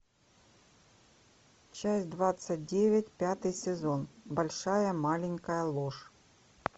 часть двадцать девять пятый сезон большая маленькая ложь